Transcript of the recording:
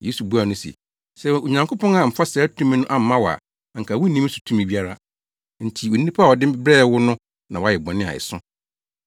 Yesu buaa no se, “Sɛ Onyankopɔn amfa saa tumi no amma wo a anka wunni me so tumi biara. Enti onipa a ɔde me brɛɛ wo no na wayɛ bɔne a ɛso.”